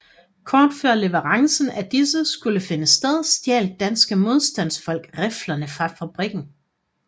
Kort før leverancen af disse skulle finde sted stjal danske modstandfolk riflerne fra fabrikken